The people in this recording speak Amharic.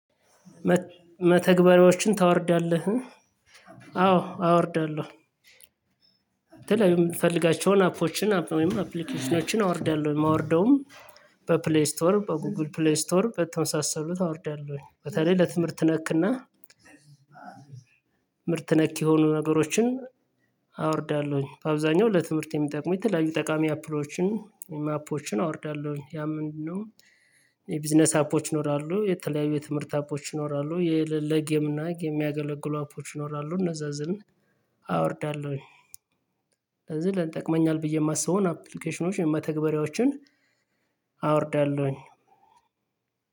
መተግበሪያዎችን ታወርዳለህ? አዎ አወርዳለሁ። የተለያዩ የምትፈልጋቸውን አፖችን አፕሊኬሽኖችን አወርዳለሁ የማወርደውም በፕሌይ ስቶር በጎግል ፕሌይ ስቶር በተመሳሳሉት አወርዳለሁኝ በተለይ ለትምህርት ነክና ትምርት ነክ የሆኑ ነገሮችን አወርዳለሁኝ። በአብዛኛው ለትምህርት የሚጠቅመው የተለያዩ ጠቃሚ አፕሎችን አፖችን አወርዳለሁኝ። ያ ምንድነው? የቢዝነስ አፖች ይኖራሉ የተለያዩ የትምህርት አፖች ይኖራሉ የለጌም እና ጌም የሚያገለግሉ አፖች ይኖራሉ እነዛዝን አወርዳለሁኝ። ለዚህ ልጠቅመኛል ብዬ የማስበውን አፕሊኬሽኖችን መተግበሪያዎችን አወርዳለሁኝ።